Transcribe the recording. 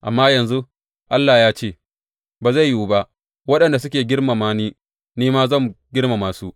Amma, yanzu Allah ya ce, ba zai yiwu ba; waɗanda suke girmama ni; Ni ma zan girmama su.